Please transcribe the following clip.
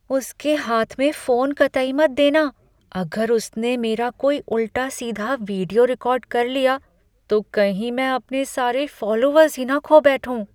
उसके हाथ में फ़ोन कतई मत देना। अगर उसने मेरा कोई उल्टा सीधा वीडियो रिकॉर्ड कर लिया तो कहीं मैं अपने सारे फ़ॉलोअर्स ही न खो बैठूँ।